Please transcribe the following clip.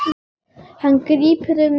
Hann grípur um mitti hennar.